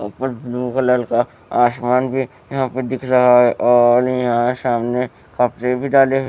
ऊपर blue colour का आसमान भी यहां पे दिख रहा है और यहां सामने कपड़े भी डाले हुए--